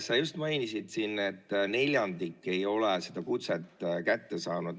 Sa just mainisid, et neljandik ei ole seda kutset kätte saanud.